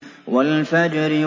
وَالْفَجْرِ